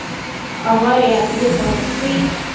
авария две полосы